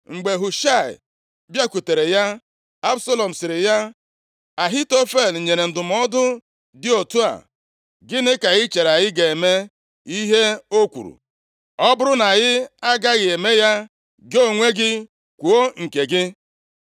Mgbe Hushaị bịakwutere ya, Absalọm sịrị ya, “Ahitofel nyere ndụmọdụ dị otu a. Gịnị ka ị chere? Anyị ga-eme ihe o kwuru? Ọ bụrụ na anyị agaghị eme ya, gị onwe gị kwuo nke gị.”